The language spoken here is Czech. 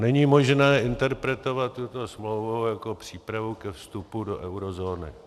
Není možné interpretovat tuto smlouvu jako přípravu ke vstupu do eurozóny.